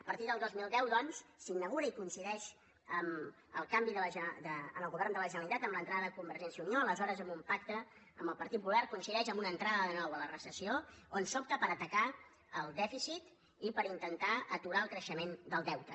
a partir del dos mil deu doncs s’inaugura i coincideix amb el canvi del govern de la generalitat amb l’entrada de convergència i unió aleshores amb un pacte amb el partit popular coincideix amb una entrada de nou a la recessió on s’opta per atacar el dèficit i per intentar aturar el creixement del deute